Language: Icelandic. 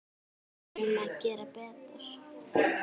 Við þurfum að gera betur.